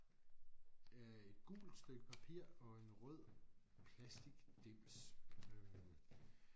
Øh et gult stykke papir og en rød plastikdims øh